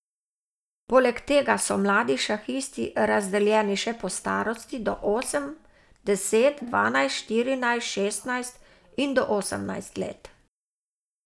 Poleg tega so mladi šahisti razdeljeni še po starosti, do osem, deset, dvanajst, štirinajst, šestnajst in do osemnajst let.